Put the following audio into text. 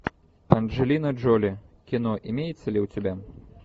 анджелина джоли кино имеется ли у тебя